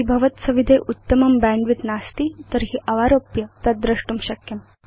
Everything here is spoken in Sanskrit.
यदि भवत्सविधे उत्तमं बैण्डविड्थ नास्ति तर्हि अवारोप्य तद् द्रष्टुं शक्यम्